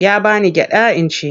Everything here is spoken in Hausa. Ya ba ni gyaɗa in ci.